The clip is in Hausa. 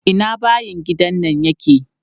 Ina bayin gidan nan yake?